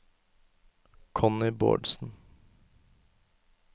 Connie Bårdsen